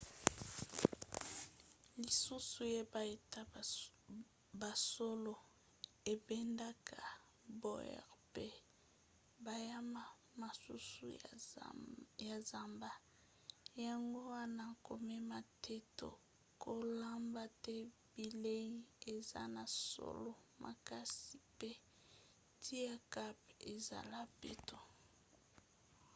lisusu yeba ete basolo ebendaka baours mpe banyama mosusu ya zamba yango wana komema te to kolamba te bilei eza na solo makasi mpe tika camp ezala peto